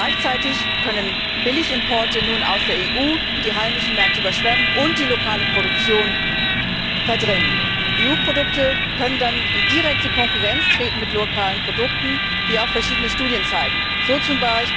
Gleichzeitig können nun Billigimporte aus der EU die heimischen Märkte überschwemmen und die lokale Produktion verdrängen. EU Produkte können dann in direkte Konkurrenz mit lokalen Produkten treten, wie auch verschiedene Studien zeigen, so z.